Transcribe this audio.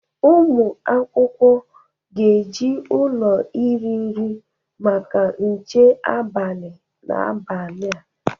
Ụmụ akwụkwọ ga-eji ụlọ iri nri maka nche abalị n'abalị a